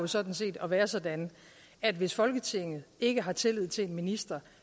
sådan set at være sådan at hvis folketinget ikke har tillid til en minister